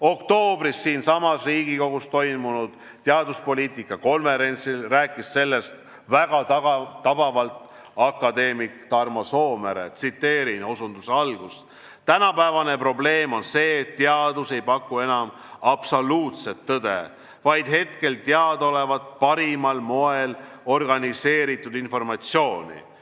Oktoobris siinsamas Riigikogus toimunud teaduspoliitika konverentsil rääkis sellest väga tabavalt akadeemik Tarmo Soomere: "Tänapäevane probleem on see, et teadus ei paku enam absoluutset tõde, vaid hetkel teadaolevat, parimal moel organiseeritud informatsiooni.